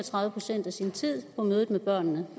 og tredive procent af sin tid på mødet med børnene